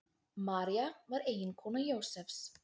María var eiginkona Jósefs.